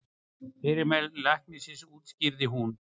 Fyrirmæli læknisins útskýrði hún.